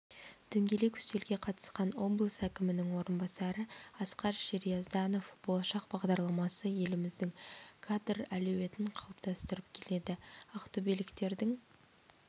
дөңгелек үстелге қатысқан облыс әкімінің орынбасары асқар шериязданов болашақ бағдарламасы еліміздің кадр әлеуетін қалыптастырып келеді ақтөбеліктердің